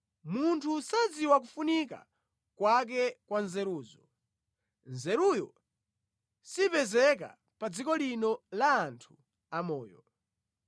Munthu sadziwa kufunika kwake kwa nzeruzo; nzeruyo sipezeka pa dziko lino la anthu amoyo.